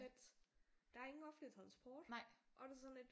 Lidt der er ingen offentlig transport og det er sådan lidt